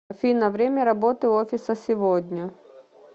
афина время работы офиса сегодня